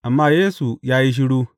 Amma Yesu ya yi shiru.